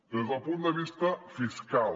des del punt de vista fiscal